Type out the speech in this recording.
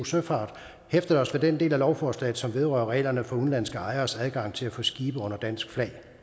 søfart hæftet os ved en del af lovforslaget som vedrører reglerne for udenlandske ejeres adgang til at få skibe under dansk